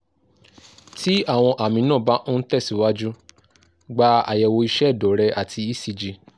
tí àwọn àmì náà bá ń ń tẹ̀síwájú gba àyẹ̀wò iṣẹ́ ẹ̀dọ̀ rẹ àti ecg